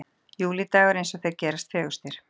Júlídagur eins og þeir gerast fegurstir.